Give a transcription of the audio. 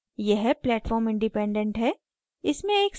यह platform independent है